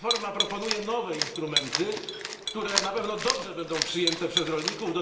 Reforma proponuje nowe instrumenty, które na pewno będą dobrze przyjęte przez rolników.